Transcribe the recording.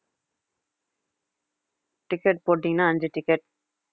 ticket போட்டீங்கன்னா அஞ்சு ticket